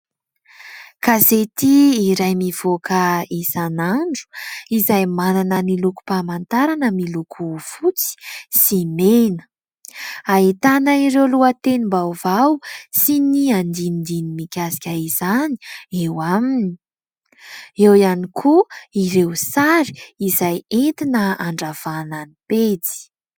Gazety iray mivoaka isan'andro izay manana ny lokom-pamantarana miloko fotsy sy mena, ahitana ireo lohatenim-baovao sy ny andinindininy mikasika izany. Eo aminy eo ihany koa ireo sary izay entina handravahana ny pejy.